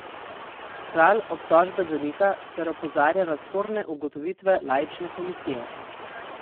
Kralj obtožbe zanika ter opozarja na sporne ugotovitve laične komisije.